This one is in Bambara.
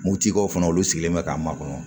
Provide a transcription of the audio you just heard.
Moptikaw fana olu sigilen bɛ k'an makɔnɔ